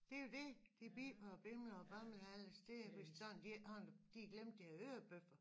Det jo dét de biber og bimler og bamler alle steder hvis sådan de ikke har de glemte deres hørebøffer